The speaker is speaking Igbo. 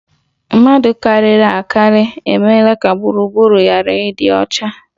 Mmadụ karịrị akarị emeela ka gburugburu ghara ịdị ọcha